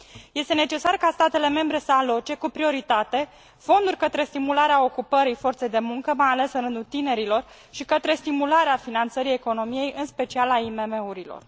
Este necesar ca statele membre să aloce, cu prioritate, fonduri către stimularea ocupării forței de muncă, mai ales în rândul tinerilor, și către stimularea finanțării economiei, în special a IMM urilor.